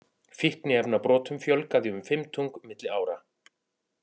Fíkniefnabrotum fjölgaði um fimmtung milli ára